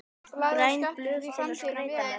græn blöð til að skreyta með